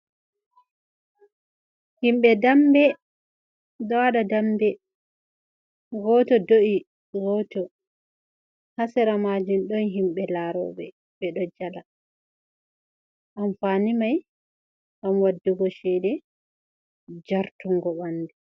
Himɓɓe dambe ɗo waɗa damɓe, goto do’i goto, ha sera majum ɗon himɓɓe laro ɓe, ɓe ɗo jala, amfani mai ngam waɗugo cede, jartungo ɓanɗu.